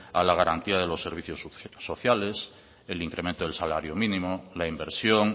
a la garantía de los servicios sociales el incremento del salario mínimo la inversión